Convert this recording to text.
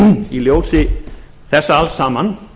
í ljósi þessa alls saman